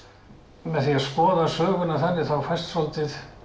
með því að skoða söguna þannig þá fæst svolítið